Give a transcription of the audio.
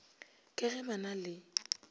ka ge ba na le